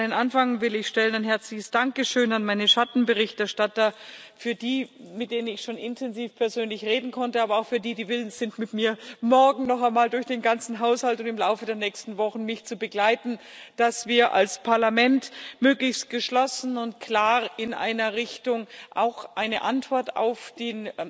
An den Anfang will ich ein herzliches Dankeschön an meine Schattenberichterstatter stellen, für die, mit denen ich schon intensiv persönlich reden konnte, aber auch für die, die willens sind, mit mir morgen noch einmal durch den ganzen Haushalt und im Laufe der nächsten Wochen mich zu begleiten, damit wir als Parlament möglichst geschlossen und klar in einer Richtung auch eine Antwort auf den